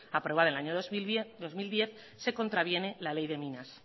aprobada en el año dos mil diez se contraviene la ley de minas